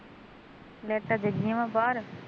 ਲੈਟਾਂ ਜਗੀਂਆ ਵਾ ਬਾਹਰ